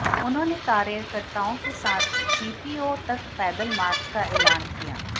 उन्होंने कार्यकर्ताओं के साथ जीपीओ तक पैदल मार्च का ऐलान किया